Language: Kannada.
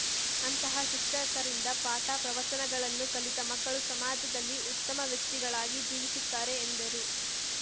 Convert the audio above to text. ಅಂತಹ ಶಿಕ್ಷಕರಿಂದ ಪಾಠಪ್ರವಚನಗಳನ್ನು ಕಲಿತ ಮಕ್ಕಳು ಸಮಾಜದಲ್ಲಿ ಉತ್ತಮ ವ್ಯಕ್ತಿಗಳಾಗಿ ಜೀವಿಸುತ್ತಾರೆ ಎಂದರು